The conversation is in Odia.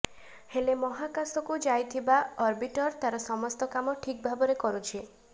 ହେଲେ ମହାକାଶକୁ ଯାଇଥିବା ଅର୍ବିଟର ତାର ସମସ୍ତ କାମ ଠିକ୍ ଭାବରେ କରୁଛି